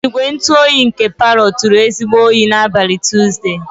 Igwe ntụ oyi nke parlor turu ezigbo oyi n'abalị Tuzdee.